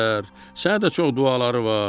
Sənə də çox duaları var.